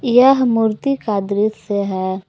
यह मूर्ति का दृश्य है।